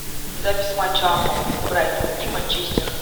запись матча апл брайтон и манчестер